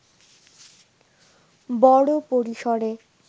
বড় পরিসরে